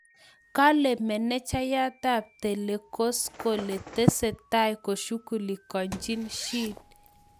Kale manejaiyat ab tanescokole tese tai koshugulikanji shid